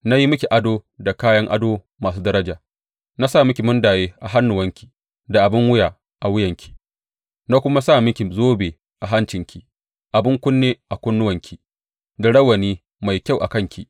Na yi miki ado da kayan ado masu daraja, na sa miki mundaye a hannuwanki da abin wuya a wuyanki, na kuma sa miki zobe a hancinki, abin kunne a kunnuwanki da rawani mai kyau a kanki.